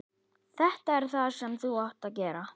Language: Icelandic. Þetta er það sem þú átt að gera.